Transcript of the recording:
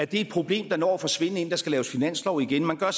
det er et problem der når at forsvinde inden der skal laves finanslov igen man gør